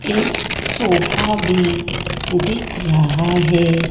एक सोफा भी दिख रहा है।